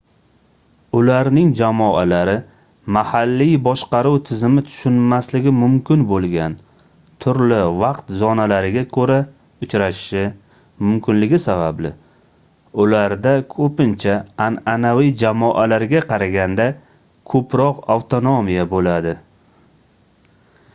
ularning jamoalari mahalliy boshqaruv tizimi tushunmasligi mumkin boʻlgan turli vaqt zonalariga koʻra uchrashishi mumkinligi sababli ularda koʻpincha anʼanaviy jamoalarga qaraganda koʻproq avtonomiya boʻladi